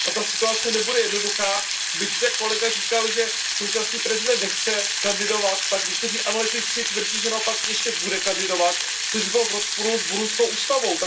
A ta situace nebude jednoduchá, byť zde kolega řekl, že současný prezident nechce kandidovat, tak někteří analytici tvrdí, že naopak ještě bude kandidovat, což by bylo v rozporu s burundskou ústavou.